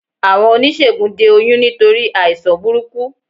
Àwọn oníṣègùn de oyún nítorí àìsàn burúkú